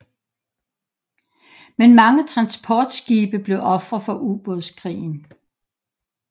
Men mange transportskibe blev ofre for ubådskrigen